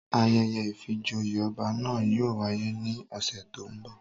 Ayẹyẹ ìfijoyé ọba na yóò wáyè ni ọsẹ to ńbo